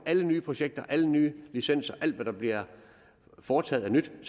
alle nye projekter alle nye licenser alt hvad der bliver foretaget af nyt e